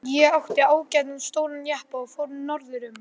Ég átti ágætan stóran jeppa og fór norður um